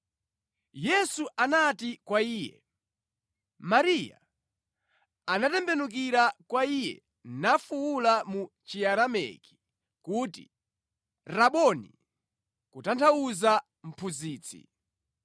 Yesu anati kwa iye, “Mariya.” Anatembenukira kwa Iye nafuwula mu Chiaramaiki kuti, “Raboni!” (kutanthauza Mphunzitsi).